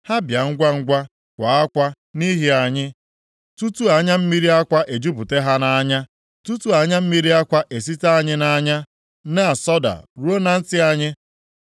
Ha bịa ngwangwa kwaa akwa nʼihi anyị, tutu anya mmiri akwa ejupụta ha nʼanya, tutu anya mmiri akwa esite anyị nʼanya na-asọda ruo na ntị anyị.